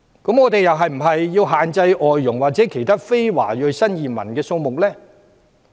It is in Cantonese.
那我們是否又要限制外傭或其他非華裔新移民數目？